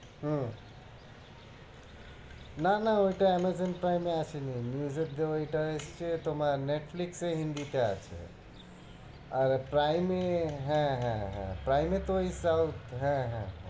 হম না না ওইটা Amazon pime এ আসেনি news এর যে ওইটা এসছে তোমার Netflix এ হিন্দিতে আছে আর prime এ হ্যাঁ হ্যাঁ prime তো ওই সাউ~ হ্যাঁ হ্যাঁ